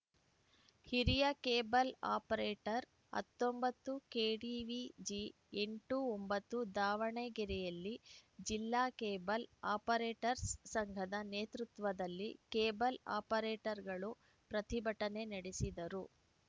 ಹಿರಿಯ cable operator ಹತ್ತೊಂಬತ್ತು KDVG ಎಂಟು ಒಂಬತ್ತು ದಾವಣಗೆರೆಯಲ್ಲಿ ಜಿಲ್ಲಾ ಕೇಬಲ್‌ ಆಪರೇಟರ್ಸ್ ಸಂಘದ ನೇತೃತ್ವದಲ್ಲಿ ಕೇಬಲ್‌ ಆಪರೇಟರ್‌ಗಳು ಪ್ರತಿಭಟನೆ ನಡೆಸಿದರು